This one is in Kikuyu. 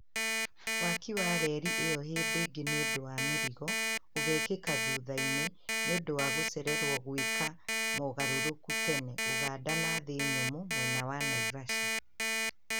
waki wa rerĩ ĩyo hĩndĩ ĩngĩ nĩũndũ wa mĩrigo ũgekĩka thutha-inĩ nĩũndũ wa gũcererwo gwika mogarũrũku tene Ũganda na thĩ nyumu mwena wa Naivasha